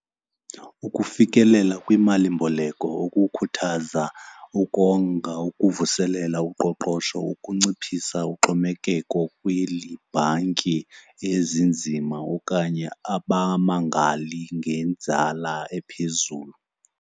Ukufikelela kwimalimboleko okukhuthaza ukonga, ukuvuselela uqoqosho, ukunciphisa uxhomekeko kweli bhanki ezinzima okanye abamangali ngenzala ephezulu.